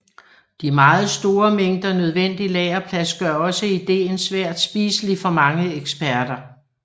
De meget store mængder nødvendig lagerplads gør også ideen svært spiselig for mange eksperter